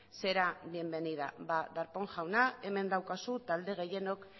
será bienvenida ba darpón jauna hemen daukazu talde gehienok